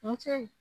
Kuncɛ